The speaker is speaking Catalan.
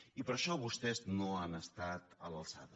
i per això vostès no han estat a l’alçada